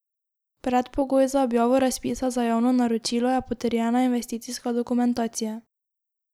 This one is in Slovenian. Predpogoj za objavo razpisa za javno naročilo je potrjena investicijska dokumentacija.